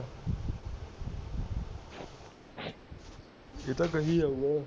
ਇਹ ਤਾਂ ਕਹੀ ਜਾਊਗਾ